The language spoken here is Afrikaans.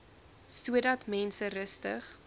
sodat mense rustig